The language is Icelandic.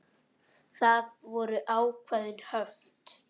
Það voru ákveðin höft.